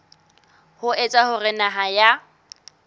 ho etsa hore naha ya